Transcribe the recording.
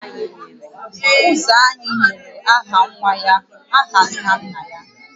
Ụzọ anyị nyere aha nwa ya aha nna nna ya